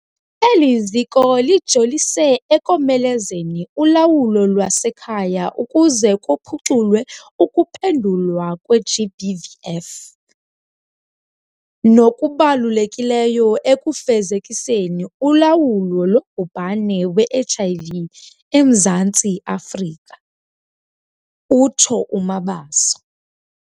"Eli ziko lijolise ekomelezeni ulawulo lwasekhaya ukuze kuphuculwe ukuphendulwa kwe-GBVF, nokubalulekileyo ekufezekiseni ulawulo lobhubhane we-HIV eMzantsi Afrika," utsho uMabaso.